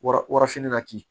Wara wara fini na kin